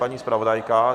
Paní zpravodajka?